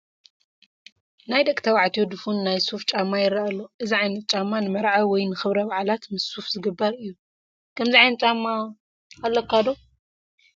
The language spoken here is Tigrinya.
ናይ ደቂ ተባዕትዮ ድፉን ናይ ሱፍ ጫማ ይረአ ኣሎ፡፡ እዚ ዓይነት ጫማ ንመርዓ ወይ ንክብረ በዓላት ምስ ሱፈ ዝግበር እዩ፡፡ ከምዚ ዓይነት ጫማ ዶ ኣለካ?